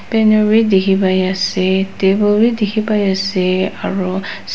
paner b dekhi pai ase table b dekhi pai ase aru sa--